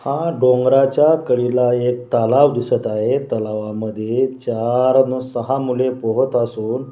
हा डोंगराच्या कडीला एक तालाव दिसत आहे तलावामध्ये चार सहा मुले पोहत असून--